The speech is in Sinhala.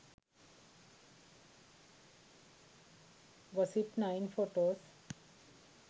gossip9 photos